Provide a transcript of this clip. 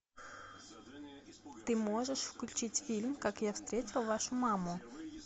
ты можешь включить фильм как я встретил вашу маму